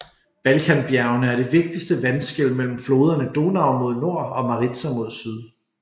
Balkanbjergene er det vigtigste vandskel mellem floderne Donau mod nord og Maritsa mod syd